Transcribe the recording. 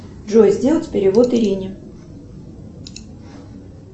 джой сделать перевод ирине